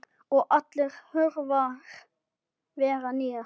Og allar hurðir verða nýjar.